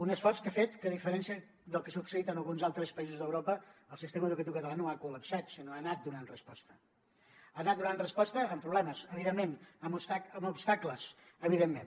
un esforç que ha fet que a diferència del que ha succeït en alguns altres països d’europa el sistema educatiu català no ha collapsat sinó que ha anat donant resposta ha anat donant resposta amb problemes evidentment amb obstacles evidentment